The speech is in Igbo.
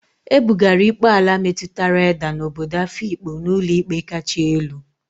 E bugara ikpe ala metụtara Edda na obodo afikpo n'ụlọikpe kacha elu.